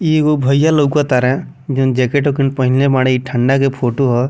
इ एगो भईया लउकतारा जौन जैकेट उकेट पहनले बाड़ी ई ठंढा के फोटो ह।